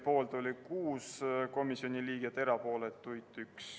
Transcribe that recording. Aitäh!